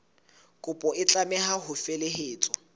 kopo e tlameha ho felehetswa